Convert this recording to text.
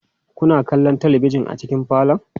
Kuna kallon talabijin a cikin falon?